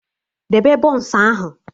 Debe bọns ahụ!